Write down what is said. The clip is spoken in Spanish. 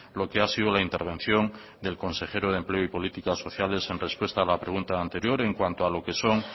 lo que ha sido la intervención del consejero de empleo y política sociales en respuesta a la pregunta anterior en cuanto a lo que son